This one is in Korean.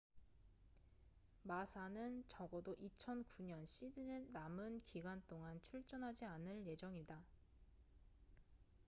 마사massa는 적어도 2009년 시즌의 남은 기간 동안 출전하지 않을 예정이다